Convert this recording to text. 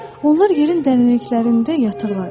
Onlar yerin dərinliklərində yatırlar.